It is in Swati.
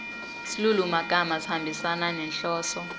silulumagama sihambisana nenhloso